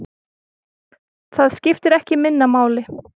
Það skiptir ekki minna máli.